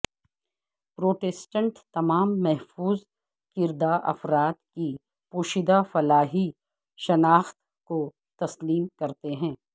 Protestant تمام محفوظ کردہ افراد کی پوشیدہ فلاحی شناخت کو تسلیم کرتے ہیں